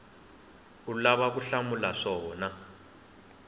u lavaka ku hlamula swona